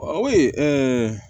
Oyi